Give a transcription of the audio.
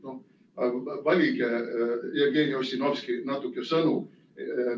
Nii et noh, valige, Jevgeni Ossinovski, natuke sõnu.